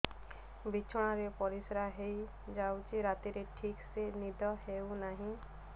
ବିଛଣା ରେ ପରିଶ୍ରା ହେଇ ଯାଉଛି ରାତିରେ ଠିକ ସେ ନିଦ ହେଉନାହିଁ